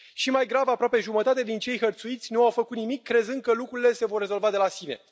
Și mai grav, aproape jumătate din cei hărțuiți nu au făcut nimic, crezând că lucrurile se vor rezolva de la sine.